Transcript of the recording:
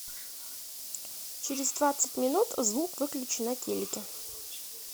через двадцать минут звук выключи на телике